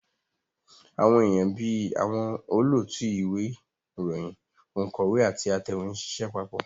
Àwọn èèyàn bí àwọn olóòtú ìwé ìròyìn, ònkọ́wé àti atẹ̀wé ń ṣiṣẹ́ papọ̀